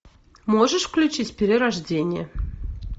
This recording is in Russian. можешь включить перерождение